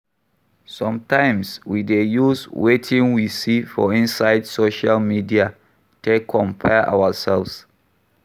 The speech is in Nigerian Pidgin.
Sometimes we dey use wetin we see for inside social media take compare ourselves